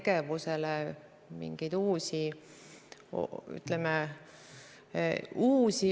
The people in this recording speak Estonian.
See algatus ei tulnud tegelikult mitte riigiametnikelt, vaid uuringuid teostas MTÜ Eesti Sündimusuuringud, kes tegi riigile ettepaneku toetust tõsta.